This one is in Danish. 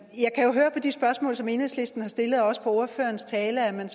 jeg kan jo høre på de spørgsmål som enhedslisten har stillet og også på ordførerens tale at man